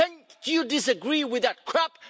Or do you disagree with that crap?